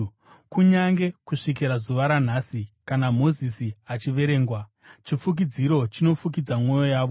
Kunyange kusvikira zuva ranhasi kana Mozisi achiverengwa, chifukidziro chinofukidza mwoyo yavo.